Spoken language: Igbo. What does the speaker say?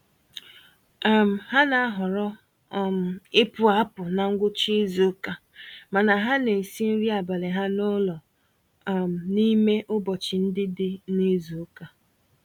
um Ha na-ahọrọ um ịpụ-apụ na ngwụcha izuka, mana ha n'esi nri abalị ha n'ụlọ um n'ime ụbọchị ndị dị nizuka